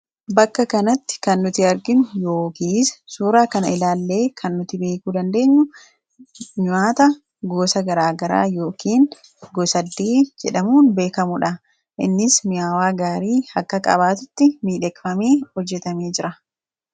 Bakka kanatti kan nuti arginu yookiis suuraa kana ilaallee kan nuti beekuu dandeenyu nyaata gosa garaa garaa yookiin gos-addiin jedhamuun beekamudha. Innis mi'aawaa gaarii akka qabaatutti miidhagfamee hojjetamee jira.